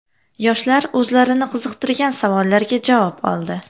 Yoshlar o‘zlarini qiziqtirgan savollarga javob oldi.